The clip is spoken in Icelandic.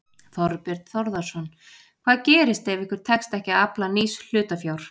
Þorbjörn Þórðarson: Hvað gerist ef ykkur tekst ekki að afla nýs hlutafjár?